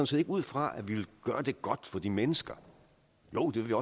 set ikke ud fra at vi vil gøre det godt for de mennesker jo det vil